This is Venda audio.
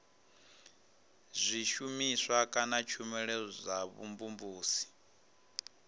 zwishumiswa kana tshumelo dza vhumvumvusi